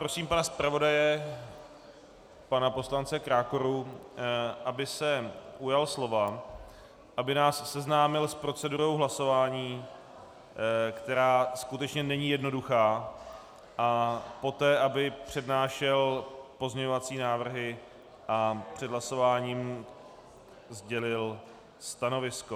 Prosím pana zpravodaje, pana poslance Krákoru, aby se ujal slova, aby nás seznámil s procedurou hlasování, která skutečně není jednoduchá, a poté aby přednášel pozměňovací návrhy a před hlasováním sdělil stanovisko.